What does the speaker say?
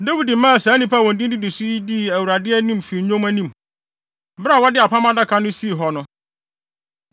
Dawid maa saa nnipa a wɔn din didi so yi dii Awurade fi nnwom anim, bere a wɔde Apam Adaka no sii hɔ no.